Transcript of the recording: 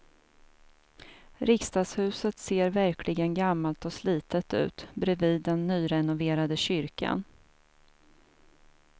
Riksdagshuset ser verkligen gammalt och slitet ut bredvid den nyrenoverade kyrkan.